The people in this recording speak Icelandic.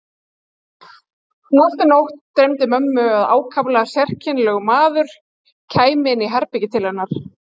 Næstu nótt dreymdi mömmu að ákaflega sérkennilegur maður kæmi inn í herbergið til hennar.